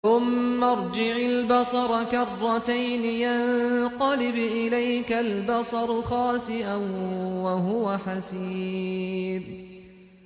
ثُمَّ ارْجِعِ الْبَصَرَ كَرَّتَيْنِ يَنقَلِبْ إِلَيْكَ الْبَصَرُ خَاسِئًا وَهُوَ حَسِيرٌ